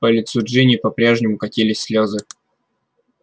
по лицу джинни по-прежнему катились слезы